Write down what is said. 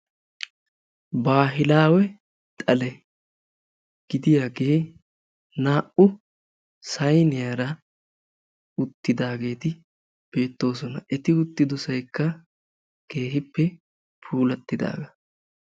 Bahilawe xalle gidiyaagge na'u saaniyara uttidagetti beettosona, etti uttidossaykka keehippe puulatidaga.